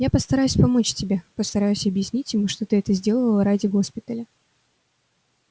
я постараюсь помочь тебе постараюсь объяснить ему что ты это сделала ради госпиталя